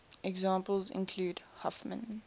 examples include huffman